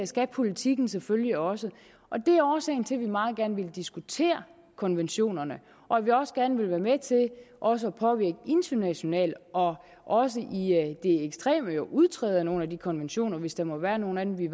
skal politikken selvfølgelig også det er årsagen til at vi meget gerne vil diskutere konventionerne og at vi også gerne vil være med til også at påvirke internationalt og også i de ekstreme tilfælde jo udtræde af nogle af de konventioner hvis der måtte være nogle af dem vi